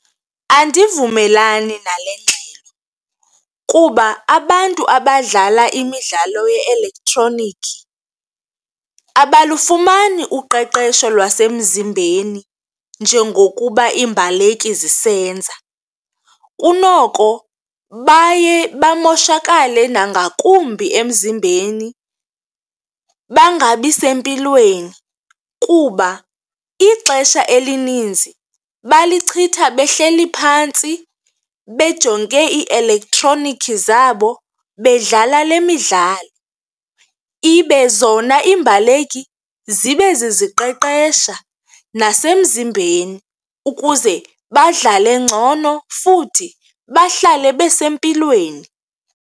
Andivumelani nale ngxelo kuba abantu abadlala imidlalo ye-elektroniki abalufumani uqeqesho lwasemzimbeni njengokuba iimbaleki zisenza. Kunoko baye bamoshakale nangakumbi emzimbeni bangabi sempilweni kuba ixesha elininzi balichitha behleli phantsi bejonge iielektroniki zabo, bedlala le midlalo. Ibe zona iimbaleki zibe ziziqeqesha nasemzimbeni ukuze badlale ngcono futhi bahlale besempilweni.